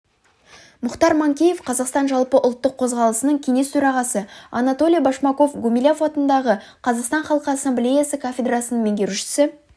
мұхтар манкеев қазақстан жалпыұлттық қозғалысының кеңес төрағасы анатолий башмаков гумилев атындағы қазақстан халқы ассамблеясы кафедрасының меңгерушісі